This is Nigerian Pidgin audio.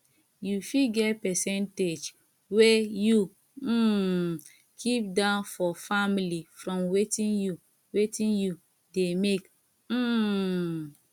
you fit get percentage wey you um keep down for family from wetin you wetin you dey make um